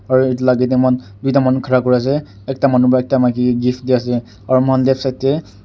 aru etu la age te duita manu khara kuri ase ekta manu para ekta maiki ke gift di ase aru moikhan left side te.